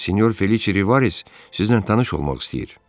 Əzizim sinyor Felice Rivarez sizinlə tanış olmaq istəyir.